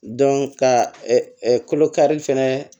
ka kolo kari fɛnɛ